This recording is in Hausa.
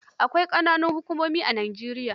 Akwai ƙananan hukumomi a Nijeriya.